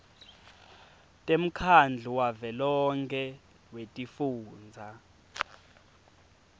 temkhandlu wavelonkhe wetifundza